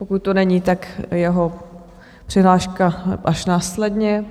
Pokud tu není, tak jeho přihláška až následně.